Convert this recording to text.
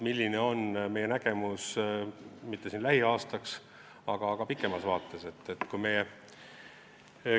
Milline on meie nägemus mitte lähiaastaks, aga pikemas vaates?